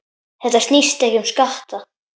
Þetta snýst ekki um skatta.